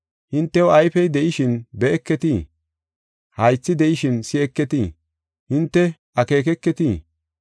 Hintew ayfey de7ishin be7eketii? Haythi de7ishin si7eketii? Hinte akeeketii?